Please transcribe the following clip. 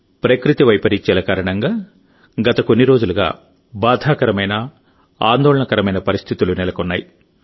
ప్రకృతి వైపరీత్యాల కారణంగా గత కొన్ని రోజులుగా బాధాకరమైన ఆందోళనకరమైన పరిస్థితులు నెలకొన్నాయి